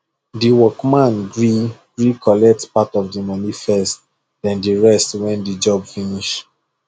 the workman gree gree collect part of the money first then the rest when the job finish